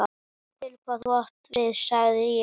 Ég skil, hvað þú átt við sagði ég.